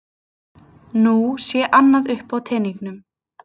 Nú sé annað uppi á teningnum